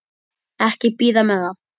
Ekki bíða með það.